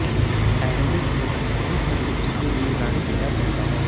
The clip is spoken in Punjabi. ਐਰੋਬਿਕਸ ਨੂੰ ਸਹੀ ਤੰਦਰੁਸਤੀ ਦੀ ਰਾਣੀ ਕਿਹਾ ਜਾਂਦਾ ਹੈ